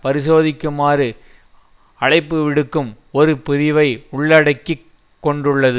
பரிசோதிக்குமாறு அழைப்புவிடுக்கும் ஒரு பிரிவை உள்ளடக்கி கொண்டுள்ளது